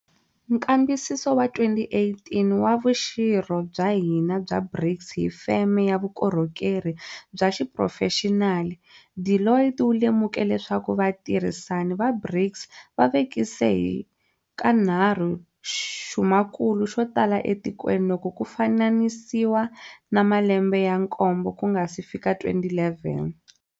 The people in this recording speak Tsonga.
Nkambisiso wa 2018 wa vuxirho bya hina bya BRICS hi feme ya vukorhokeri bya xiphurofexinali, Deloitte wu lemuke leswaku vatirhi sani va BRICS va vekise hi kanharhu xumakulu xo tala etikweni loko ku fananisiwa na malembe ya nkombo ku nga si fika 2011.